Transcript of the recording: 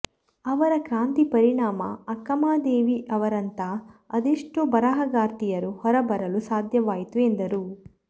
ಅವರ ಕ್ರಾಂತಿ ಪರಿಣಾಮ ಅಕ್ಕಮಹಾದೇವಿ ಅವರಂಥ ಅದೆಷ್ಟೋ ಬರಹಗಾರ್ತಿಯರು ಹೊರಬರಲು ಸಾಧ್ಯವಾಯಿತು ಎಂದರು